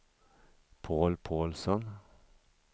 Paul Paulsson